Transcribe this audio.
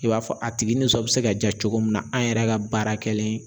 I b'a fɔ a tigi nisɔn be se ka ja cogo min na an yɛrɛ ka baara kɛlen